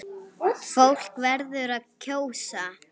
Fólk verður að kjósa!